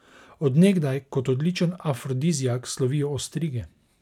Od nekdaj kot odličen afrodiziak slovijo ostrige.